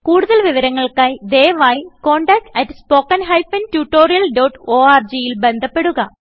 കുടുതൽ വിവരങ്ങൾക്കായി ദയവായി contact at spoken hyphen tutorial dot orgൽ ബന്ധപ്പെടുക